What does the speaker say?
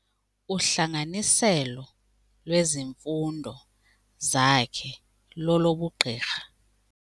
Uhlanganiselo lwezimfundo lwakhe lolobugqirha.